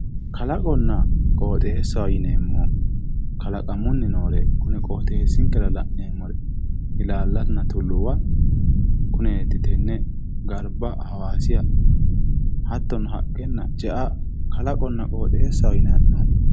Kalaqonna qooxeessa yineemmori kalaqamunni noore kune qooxeessinkera la'neemmore ilaallanna tulluwa kuneeti kone garba hawaasiha hattono haqqenna ce"a kalaqonna qooxeessaho yinayihee'noommo.